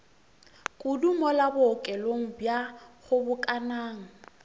kudu mola bookelong bja kgobokanang